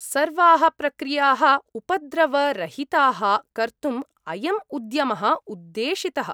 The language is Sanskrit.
सर्वाः प्रक्रियाः उपद्रवरहिताः कर्तु्म् अयम् उद्यमः उद्देशितः।